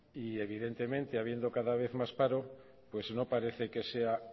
y evidentemente habiendo cada vez más paro pues no parece que sea